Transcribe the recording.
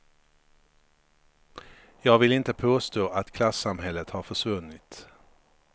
Jag vill inte påstå att klassamhället har försvunnit.